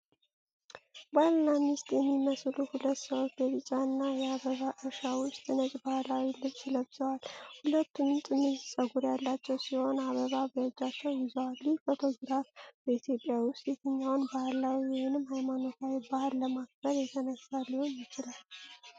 ባልና ሚስት የሚመስሉ ሁለት ሰዎች በቢጫ የአበባ እርሻ ውስጥ ነጭ ባህላዊ ልብስ ለብሰዋል። ሁለቱም ጥምዝ ፀጉር ያላቸው ሲሆን፣ አበባ በእጃቸው ይዘው ፤ ይህ ፎቶግራፍ በኢትዮጵያ ውስጥ የትኛውን ባህላዊ ወይንም ሃይማኖታዊ በዓል ለማክበር የተነሳ ሊሆን ይችላል?